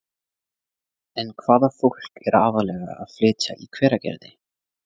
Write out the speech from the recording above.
En hvaða fólk er aðallega að flytja í Hveragerði?